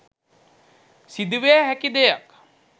සිදුවිය හැකි දෙයක්.